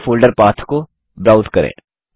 निम्न फोल्डर पाठ को ब्राउज़ करें